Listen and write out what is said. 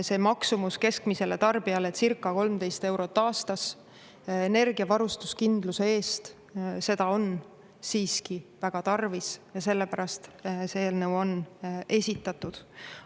See maksumus keskmisele tarbijale circa 13 eurot aastas energiavarustuskindluse eest, seda on siiski väga tarvis ja sellepärast see eelnõu on esitatud.